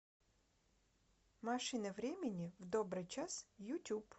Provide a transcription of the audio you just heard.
машина времени в добрый час ютуб